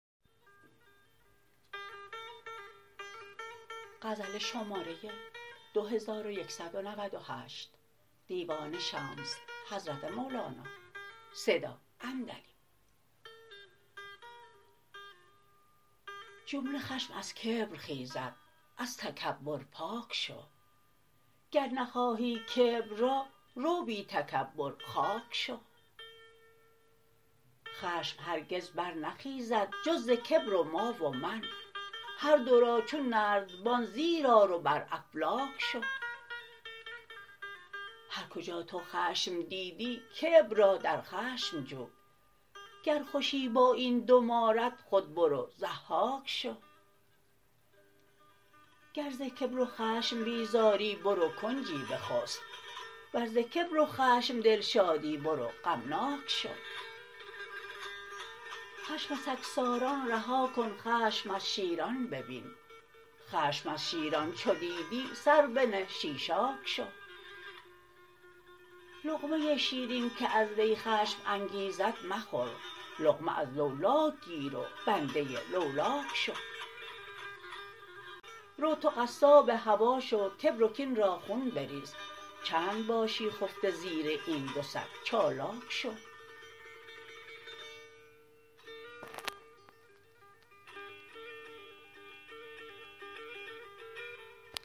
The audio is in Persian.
جمله خشم از کبر خیزد از تکبر پاک شو گر نخواهی کبر را رو بی تکبر خاک شو خشم هرگز برنخیزد جز ز کبر و ما و من هر دو را چون نردبان زیر آر و بر افلاک شو هر کجا تو خشم دیدی کبر را در خشم جو گر خوشی با این دو مارت خود برو ضحاک شو گر ز کبر و خشم بیزاری برو کنجی بخست ور ز کبر و خشم دلشادی برو غمناک شو خشم سگساران رها کن خشم از شیران ببین خشم از شیران چو دیدی سر بنه شیشاک شو لقمه شیرین که از وی خشم انگیزان مخور لقمه از لولاک گیر و بنده لولاک شو رو تو قصاب هوا شو کبر و کین را خون بریز چند باشی خفته زیر این دو سگ چالاک شو